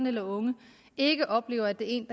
eller unge ikke oplever at det er en